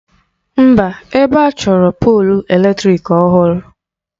Mba, ebe a chọrọ polụ eletrịk ọhụrụ.